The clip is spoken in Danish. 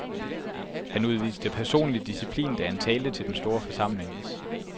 Han udviste personlig disciplin, da han talte til den store forsamling.